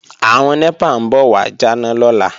Àwọn NEPA ń bọ̀ wà jáná lọ́la